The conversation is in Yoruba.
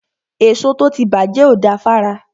Èso tó ti bàjẹ́ ò da fára.